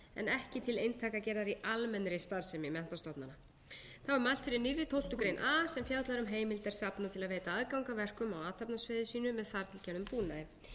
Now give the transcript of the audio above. ekki til eintakagerðar í almennri starfsemi menntastofnana þá er mælt fyrir fyrr tólftu greinar a sem fjallar um heimildir safna til að veita aðgang að verkum á athafnasvæði sínu með þar til gerðum búnaði